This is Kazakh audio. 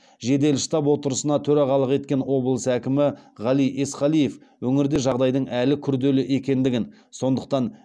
жедел штаб отырысына төрағалық еткен облыс әкімі ғали есқалиев өңірде жағдайдың әлі күрделі екендігін сондықтан